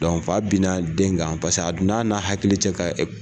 fa a bɛ na den kan paseke a donan na hakili cɛ ka